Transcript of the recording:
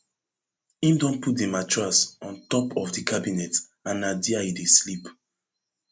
im don put di mattress on top of di cabinet and na dia e dey sleep